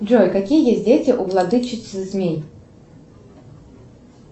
джой какие есть дети у владычицы змей